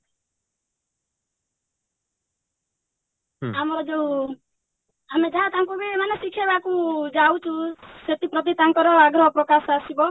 ଆମର ଯଉ ଆମେ ଯାହା ତାଙ୍କୁବି ମାନେ କିଛି ତାଙ୍କୁ ଯାଉଛୁ ସେଥିପ୍ରତି ତାଙ୍କର ଆଗ୍ରହ ପ୍ରକାଶ ଆସିବ